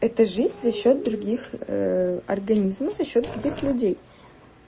это жизнь за счёт других организмов за счёт других людей